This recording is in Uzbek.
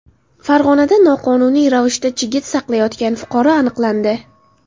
Farg‘onada noqonuniy ravishda chigit saqlayotgan fuqaro aniqlandi.